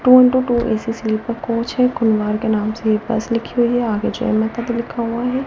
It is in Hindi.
To into two A C sleeper coach है के नाम से ये बस लिखी हुई है आगे जय माता दी लिखा हुआ है।